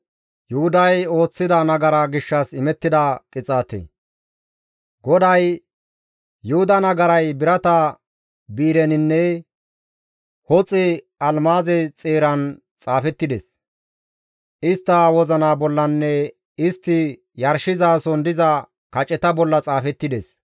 GODAY, «Yuhuda nagaray birata bi7ireninne hoxe almaaze xeeran xaafettides; istta wozina bollanne istti yarshizason diza kaceta bolla xaafettides.